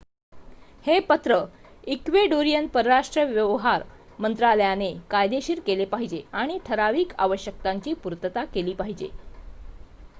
हे पत्र इक्वेडोरियन परराष्ट्र व्यवहार मंत्रालयाने कायदेशीर केले पाहिजे आणि ठराविक आवश्यकतांची पूर्तता केली पाहिजे